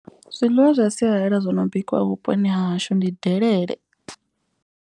Zwiḽiwa zwa sialala zwo no bikiwa vhuponi hahashu ndi delele.